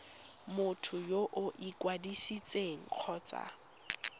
motho yo o ikwadisitseng kgotsa